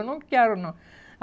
Eu não quero, não.